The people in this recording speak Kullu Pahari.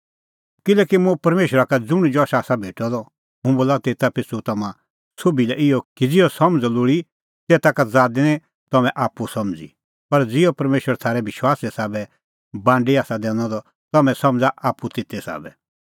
किल्हैकि मुंह परमेशरा का ज़ुंण जश आसा भेटअ द हुंह बोला तेता पिछ़ू तम्हां सोभी लै इहअ कि ज़िहअ समझ़अ लोल़ी तेता का ज़ादै निं तम्हैं आप्पू समझ़ी पर ज़िहअ परमेशर थारै विश्वासे साबै बांडी आसा दैनअ द तम्हैं समझ़ा आप्पू तेते साबै